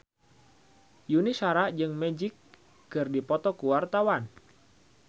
Yuni Shara jeung Magic keur dipoto ku wartawan